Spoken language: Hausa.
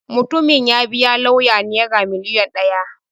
Mutumin ya biya lauyan Naira miliyan ɗaya.